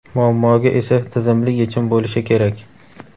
muammoga esa tizimli yechim bo‘lishi kerak.